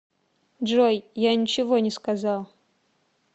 джой я ничего не сказал